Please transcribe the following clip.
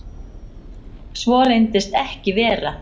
Svo reyndist ekki vera